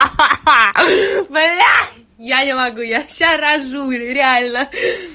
ха-ха блять я не могу я сейчас рожу реально